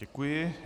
Děkuji.